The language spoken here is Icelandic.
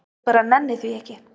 Ég bara nenni því ekki.